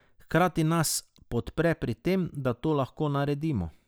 Hkrati nas podpre pri tem, da to lahko naredimo.